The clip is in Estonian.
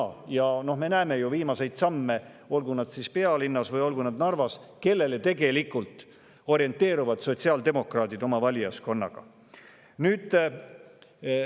Sotsiaaldemokraatide viimased sammud, olgu need siis pealinnas või Narvas,, kellele nad oma valijaskonnas tegelikult orienteeruvad.